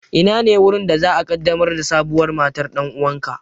Inane wurin da za'a ƙaddamar da sabuwar matar ɗan'uwanka?